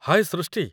ହାଏ ସୃଷ୍ଟି!